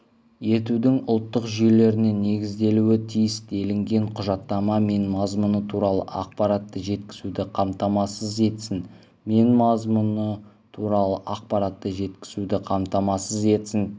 етудің ұлттық жүйелеріне негізделуі тиіс делінген құжатта мен мазмұны туралы ақпаратты жеткізуді қамтамасыз етсін мен мазмұны туралы ақпаратты жеткізуді қамтамасыз етсін